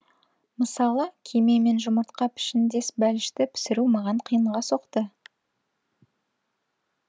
мысалы кеме мен жұмыртқа пішіндес бәлішті пісіру маған қиынға соқты